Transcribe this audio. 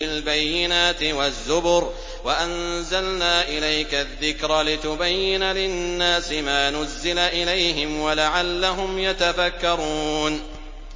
بِالْبَيِّنَاتِ وَالزُّبُرِ ۗ وَأَنزَلْنَا إِلَيْكَ الذِّكْرَ لِتُبَيِّنَ لِلنَّاسِ مَا نُزِّلَ إِلَيْهِمْ وَلَعَلَّهُمْ يَتَفَكَّرُونَ